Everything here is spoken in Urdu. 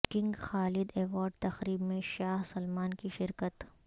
کنگ خالد ایوارڈ تقریب میں شاہ سلمان کی شرکت